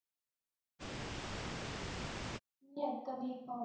मी आता BPharm